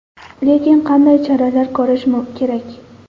Lekin qanday choralar ko‘rish kerak?